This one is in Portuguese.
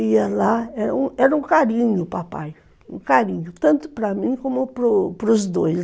Ia lá, era um carinho, papai, um carinho, tanto para mim como para os dois.